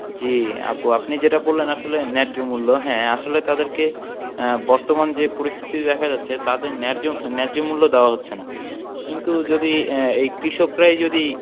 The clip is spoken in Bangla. জী আপু আপনি যেটা বললেন আসলে ন্যায্য মূল্য হ্যাঁ আসলে তাদেরকে আহ বর্তমান যে পরিস্থিতি দেখা যাচ্ছে তাদেরকে ন্যায্য আহ ন্যায্য মূল্য দেওয়া হচ্ছে না কিন্তু যদি আহ এই কৃষকরাই যদি